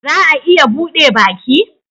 Za a iya bude baki?